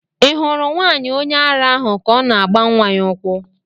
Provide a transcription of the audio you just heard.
Ị hụrụ nwaanyị onye ara ahụ ka ọ na-agba nwa ya ụkwụ?